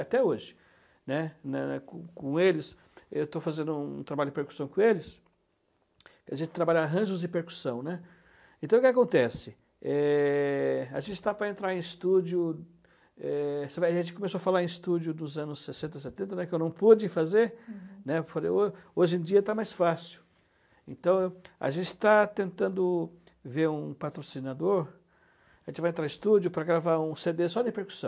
até hoje, né, né, com, com eles eu estou fazendo um trabalho de percussão com eles que a gente trabalha arranjos e percussão, né, então o que que acontece é, a gente está para entrar em estúdio é, a gente começou a falar em estúdio dos anos sessenta, setenta que eu não pude fazer né, falei, hoje em dia está mais fácil então a gente está tentando ver um patrocinador a gente vai entrar em estúdio para gravar um cê dê só de percussão